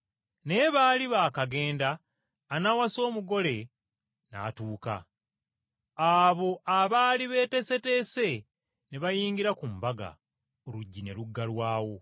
“Naye baali baakagenda anaawasa omugole n’atuuka, abo abaali beeteeseteese ne bayingira ku mbaga, oluggi ne luggalwawo.